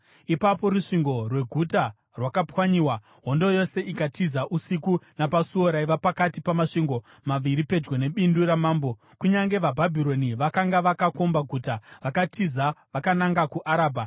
Ipapo rusvingo rweguta rwakapwanyiwa, hondo yose ikatiza usiku napasuo raiva pakati pamasvingo maviri pedyo nebindu ramambo, kunyange veBhabhironi vakanga vakakomba guta. Vakatiza vakananga kuArabha,